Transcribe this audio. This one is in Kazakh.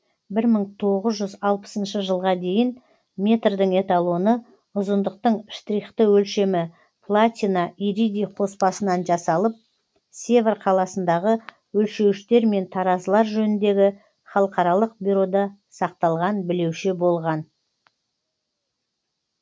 бір мың тоғыз жүз алпысыншы жылға дейін метрдің эталоны ұзындықтың штрихты өлшемі платина иридий қоспасынан жасалып севр қаласындағы өлшеуіштер мен таразылар жөніндегі халықаралық бюрода сақталған білеуше болған